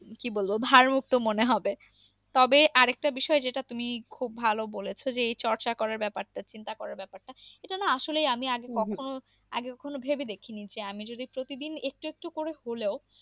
কি বলব, ভার মুক্ত মনে হবে। তবে আর একটা বিষয় যেটা তুমি খুব বলেছ যে এই চর্চা করার ব্যাপারটা চিন্তা করার ব্যাপারটা। এটা না আসলে আমি আগে কখনো আগে কখনো ভেবে দেখিনি। যে আমি যদি প্রতিদিন একটু একটু করে হলেও